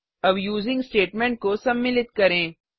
अब using statement को सम्मिलित करें